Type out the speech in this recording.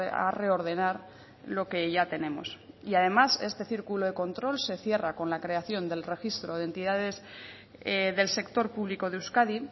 a reordenar lo que ya tenemos y además este círculo de control se cierra con la creación del registro de entidades del sector público de euskadi